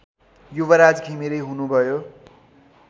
युवराज घिमिरे हुनुभयो